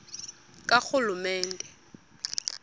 karhulumente